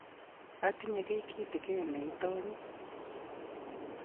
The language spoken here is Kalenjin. atinye kiy kitegen ne itanyin